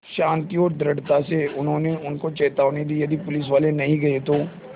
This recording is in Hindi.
शान्ति और दृढ़ता से उन्होंने उनको चेतावनी दी यदि पुलिसवाले नहीं गए तो